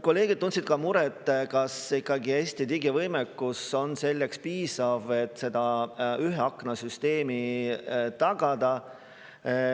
Kolleegid tundsid ka muret, kas ikkagi Eesti digivõimekus on selleks piisav, et seda ühe akna süsteemi tagada.